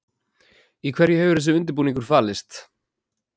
Í hverju hefur þessi undirbúningur falist?